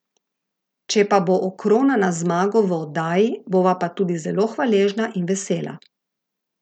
Če pa bo okronana z zmago v oddaji, bova pa tudi zelo hvaležna in vesela.